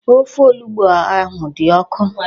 Ofe onugbu ahụ dị ọkụ.